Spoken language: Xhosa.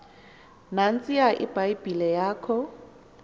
nantsiya ibhayibhile yakho